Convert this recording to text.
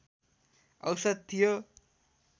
औसत थियो